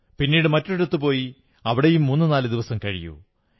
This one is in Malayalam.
പിന്നീട് മറ്റൊരിടത്തു പോയി അവിടെയും മൂന്നുനാലു ദിവസം കഴിയൂ